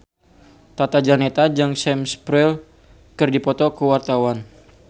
Tata Janeta jeung Sam Spruell keur dipoto ku wartawan